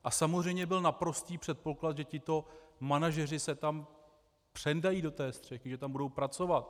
A samozřejmě byl naprostý předpoklad, že tito manažeři se tam přendají do té střechy, že tam budou pracovat.